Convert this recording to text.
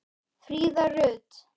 Fríða Rut.